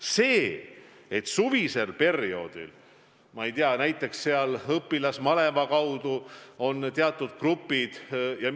Teine asi on, et suvisel perioodil näiteks õpilasmaleva kaudu on teatud grupid põldudel.